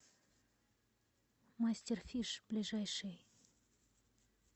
мастер фиш ближайший